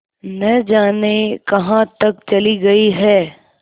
न जाने कहाँ तक चली गई हैं